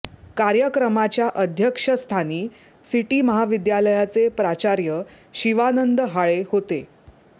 कार्यक्रमाच्या अध्यक्षस्थानी सिटी महाविद्यालयाचे प्राचार्य शिवानंद हाळे होते